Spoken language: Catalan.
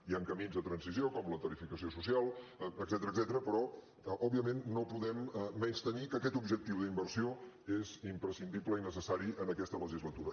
hi han camins de transició com la tarifació social etcètera però òbviament no podem menystenir que aquest objectiu d’inversió és imprescindible i necessari en aquesta legislatura